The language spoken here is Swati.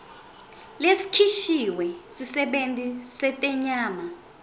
lesikhishwe sisebenti setenyama